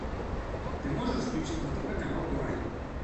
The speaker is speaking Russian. ты можешь включить на тв канал курай